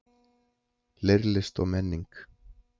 Leirlist og menning